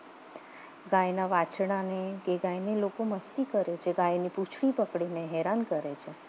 ગાયના વાછરડાને કે ગાયને લોકો મસ્તી મસ્તી કરે છે ગાયને પૂંછડી પકડીને હેરાન કરે છે